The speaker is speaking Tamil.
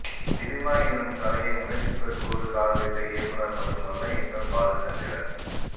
சினிமா எனும் கலையை உணர்ச்சிப் பெருக்கோடு காதலித்த இயக்குநர் மட்டுமல்ல எங்கள் பாலச்சந்திரன்